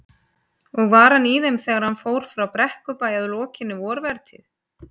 Og var hann í þeim þegar hann fór frá Brekkubæ að lokinni vorvertíð.